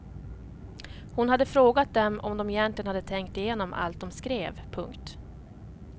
Hon hade frågat dem om de egentligen hade tänkt igenom allt de skrev. punkt